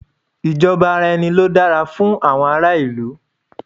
Ìjọba ara ẹni ló dára fún àwọn ará ìlú